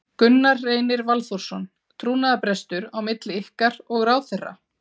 Gunnar Reynir Valþórsson: Trúnaðarbrestur á milli ykkar og ráðherra?